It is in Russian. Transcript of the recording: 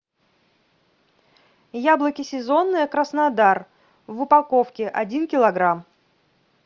яблоки сезонные краснодар в упаковке один килограмм